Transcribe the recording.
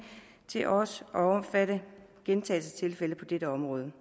til også at omfatte gentagelsestilfælde på dette område